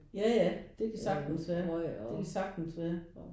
Ja ja det kan sagtens være. Det kan sagtens være